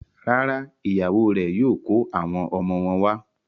Rárá, ìyàwó rẹ̀ yóò kó àwọn ọmọ wọn wá.